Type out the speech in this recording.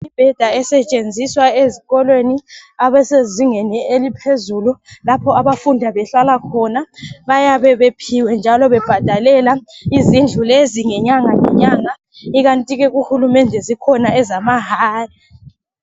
Imibheda esetshenziswa ezikolweni ezisezingeni eliphezulu lapho abafunda behlala khona bayabe bephiwe njalo bebhadalela izindlu lezi nyanga zonke ikanti ke kuhulumende zikhona ezamahala.